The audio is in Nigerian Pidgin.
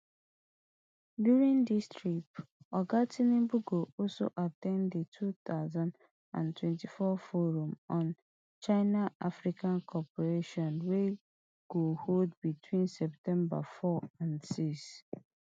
during dis trip oga tinubu go also at ten d di two thousand and twenty-four forum on chinaafrica cooperation wey go hold between september four and six